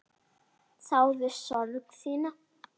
Þáði sorg þína.